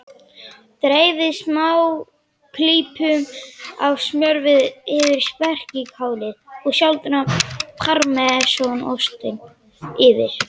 Dreifið smáklípum af smjörva yfir spergilkálið og sáldrið parmesanostinum yfir.